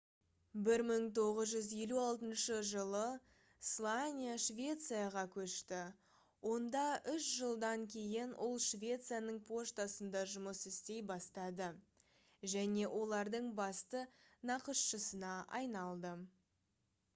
1956 жылы слания швецияға көшті онда үш жылданк кейін ол швецияның поштасында жұмыс істей бастады және олардың басты нақышшысына айналды